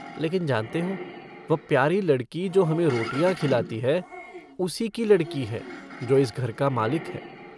लेकिन जानते हो वह प्यारी लड़की जो हमे रोटियाँ खिलाती है उसी की लड़की है जो इस घर का मालिक है।